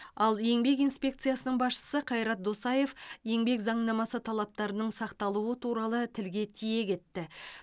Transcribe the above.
ал еңбек инспекциясының басшысы қайрат досаев еңбек заңнамасы талаптарының сақталуы туралы тілге тиек етті